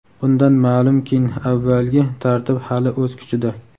Bundan ma’lumkin avvalgi tartib hali o‘z kuchida.